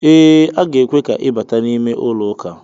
Ee a ga-ekwe ka i bata n'ime ụlọ ụka.